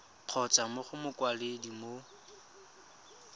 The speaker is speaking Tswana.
kgotsa mo go mokwaledi mo